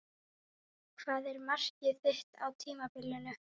Hvað er markmið þitt á tímabilinu?